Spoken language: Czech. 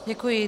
Děkuji.